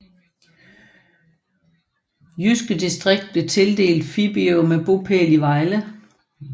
Jyske Distrikt blev tildelt Fibiger med bopæl i Vejle